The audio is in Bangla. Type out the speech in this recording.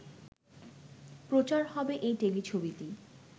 প্রচার হবে এই টেলিছবিটি